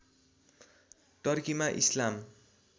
टर्कीमा इस्लाम